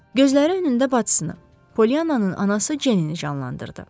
Gözləri önündə bacısını, Polliyananın anası Cenni canlandırdı.